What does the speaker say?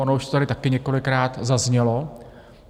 Ono už to tady také několikrát zaznělo.